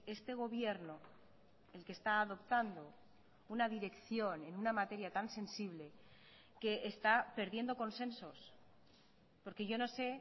este gobierno el que está adoptando una dirección en una materia tan sensible que está perdiendo consensos porque yo no sé